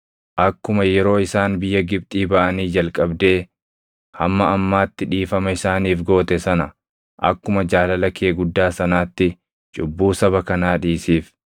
Akkuma yeroo isaan biyya Gibxii baʼanii jalqabdee hamma ammaatti dhiifama isaaniif goote sana akkuma jaalala kee guddaa sanaatti cubbuu saba kanaa dhiisiif.”